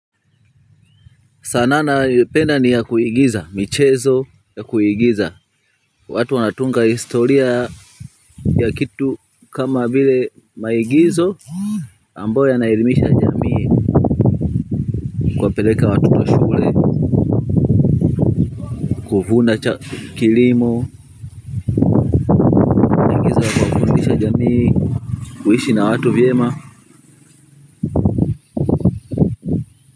Sanaa ninayoipenda ni ya kuigiza michezo ya kuigiza. Watu wanatunga historia ya kitu kama vile maigizo ambayo yanaelimisha jamii kuwapeleka watoto shule kuvuna cha kilimo, kufundisha jamii kuishi na watu vyema.